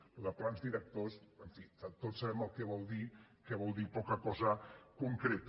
això de plans directors en fi que tots sabem el que vol dir que vol dir poca cosa concreta